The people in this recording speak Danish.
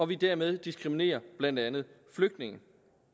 vi dermed diskriminerer blandt andet flygtninge